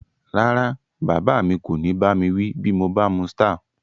Rárá, bàbá mi kò ní bá mi wí bí mo bá mu Star